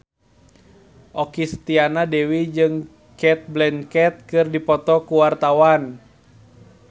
Okky Setiana Dewi jeung Cate Blanchett keur dipoto ku wartawan